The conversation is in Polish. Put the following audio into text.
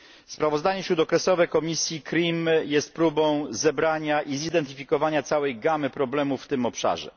Sprawozdanie śródokresowe komisji CRIM jest próbą zebrania i zidentyfikowania całej gamy problemów w tym obszarze.